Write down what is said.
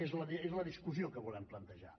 és la discussió que volem plantejar